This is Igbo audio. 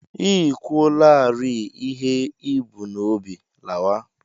I kwuolarịị ihe i bu n'obi, lawa!